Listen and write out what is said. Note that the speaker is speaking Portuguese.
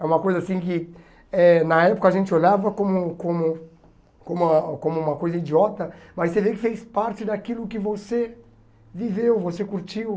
É uma coisa assim que eh na época a gente olhava como como como como uma coisa idiota, mas você vê que fez parte daquilo que você viveu, você curtiu.